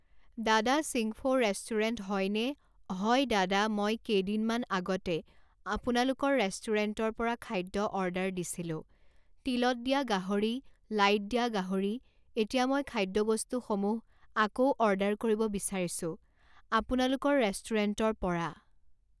দাদা চিংফৌ ৰেষ্টোৰেণ্ট হয়নে হয় দাদা মই কেইদিনমান আগতে আপোনালোকৰ ৰেষ্টুুৰেণ্টৰ পৰা খাদ্য অৰ্ডাৰ দিছিলোঁ তিলত দিয়া গাহৰি লাইত দিয়া গাহৰি এতিয়া মই খাদ্যবস্তুসমূহ আকৌ অৰ্ডাৰ কৰিব বিচাৰিছোঁ আপোনালোকৰ ৰেষ্টুৰেণ্টৰ পৰা